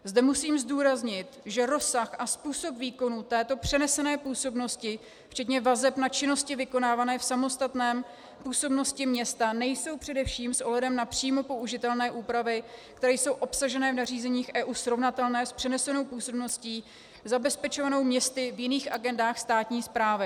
Zde musím zdůraznit, že rozsah a způsob výkonu této přenesené působnosti včetně vazeb na činnosti vykonávané v samostatné působnosti města nejsou především s ohledem na přímo použitelné úpravy, které jsou obsaženy v nařízeních EU, srovnatelné s přenesenou působností zabezpečovanou městy v jiných agendách státní správy.